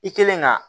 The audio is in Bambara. I kelen ka